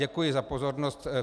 Děkuji za pozornost.